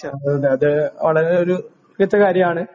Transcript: അത് വളരെ ഒരു മികച്ച കാര്യമാണ്.